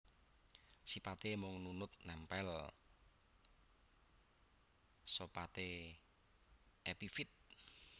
Sipaté mung nunut nèmpèl sopate epifit